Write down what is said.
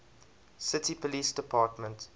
city police department